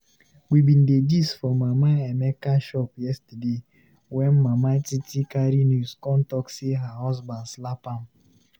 We bin dey gist for Mama Emeka shop yesterday wen Madam Titi carry news con talk sey her husband slap am.